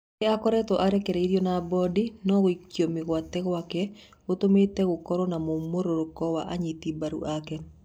Nĩ akoretwo arekereirio na mbũndi, no gũikio mĩgwate gwake gũtũmite gũkorwo na mumũrũrũko wa anyiti mbaru ake.